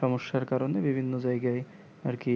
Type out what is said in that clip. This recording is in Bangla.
সমস্যার কারণে বিভিন্ন জায়গায় আর কি